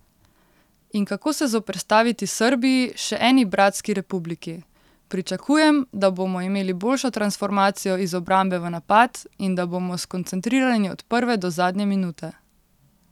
In kako se zoperstaviti Srbiji, še eni 'bratski' republiki: 'Pričakujem, da bomo imeli boljšo transformacijo iz obrambe v napad in da bomo skoncentrirani od prve do zadnje minute.